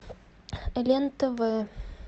лен тв